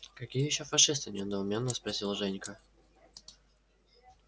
какие ещё фашисты недоуменно спросил женька